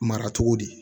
Mara cogo di